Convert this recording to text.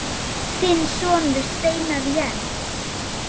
Þinn sonur, Steinar Jens.